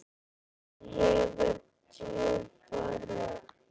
Hann hefur djúpa rödd.